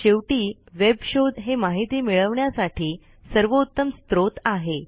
शेवटी वेब शोध हे माहिती मिळविण्यासाठी सर्वोत्तम स्त्रोत आहे